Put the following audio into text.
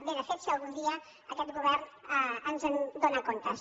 bé de fet si algun dia aquest govern ens en dóna comptes